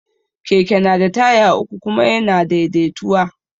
Keke na da taya uku kuma ya na daidaituwa